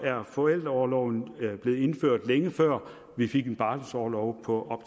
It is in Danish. er forældreorloven blevet indført længe før vi fik en barselsorlov på